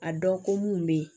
A dɔn ko mun be yen